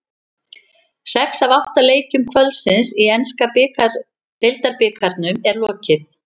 Sex af átta leikjum kvöldsins í enska deildabikarnum er lokið.